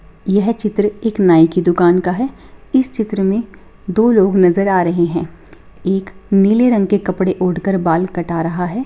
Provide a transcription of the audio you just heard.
यह चित्र एक नाई के दुकान का है इस चित्र में दो लोग नजर आ रहे हैं एक नीले रंग के कपड़े ओढ़ कर बाल कटा रहा है।